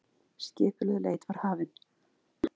Skipulögð leit var hafin.